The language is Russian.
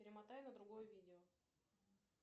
перемотай на другое видео